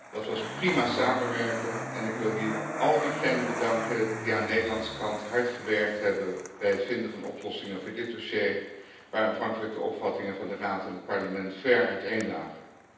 Dat was prima samenwerken en ik wil hier al diegenen bedanken die aan Nederlandse kant hard gewerkt hebben bij het vinden van oplossingen voor dit dossier, waar aanvankelijk de opvattingen van de Raad en het Parlement ver uiteen lagen.